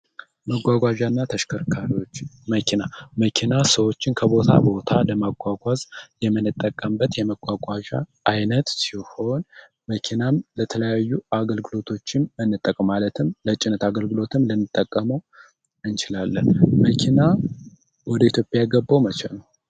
መጓጓዣ እና ተሽከርካሪዎች መኪና መኪና ሰዎችን ከቦታ ቦታ ለማጓጓዝ የምንጠቀምበት የመጓጓዣ አይነት ሲሆን መኪናም ለተለያዩ አገልግሎቶችም እንጠቀማለን። ለጭነት አገልግሎትም ልንጠቀም እእንችላለን። መኪና ወደ ኢትዮጵያ የገባው መቼ ነው?